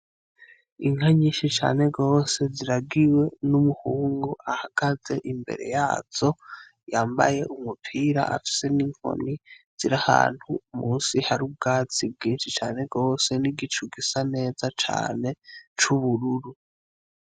Inka nyinshi cane rose ziragiwe n'umuhungu ahagaze imbere yazo yambaye umupira afise n'inkoni ziri ahantu musi hari ubwatsi bwinshi cane rwose n'igicu gisa neza cane c'ubururu.